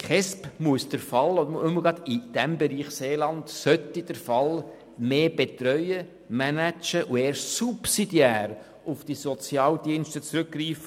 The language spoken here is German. Die KESB sollte gerade im Bereich Seeland Fälle mehr betreuen, managen und erst subsidiär auf die Sozialdienste zurückgreifen.